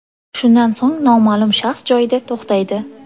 Shundan so‘ng noma’lum shaxs joyida to‘xtaydi.